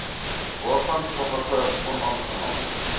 waarvan sommige onaangename